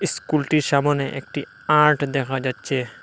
স্কুলটির সামোনে একটি আর্ট দেখা যাচ্ছে।